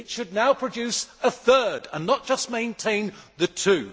It should now produce a third, and not just maintain the two.